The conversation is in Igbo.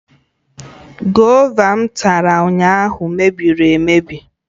Gova m tara ụnyahụ mebiri emebi